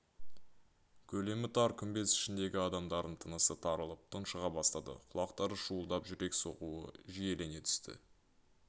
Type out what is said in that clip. көлемі тар күмбез ішіндегі адамдардың тынысы тарылып тұншыға бастады құлақтары шуылдап жүрек соғуы жиілене түсті